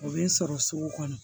O bɛ n sɔrɔ sugu kɔnɔ